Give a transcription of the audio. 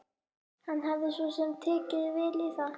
Hann hafði svo sem tekið vel í það.